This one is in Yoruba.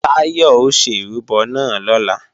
Táyọ̀ ó ṣe ìrúbọ náà lọ́la